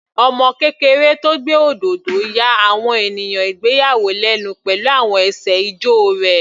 Ọmọ kékeré tó gbé òdodo ya àwọn ènìyàn ìgbéyàwó lẹ́nu pẹ̀lú àwọn ẹsẹ̀ ijó rẹ̀.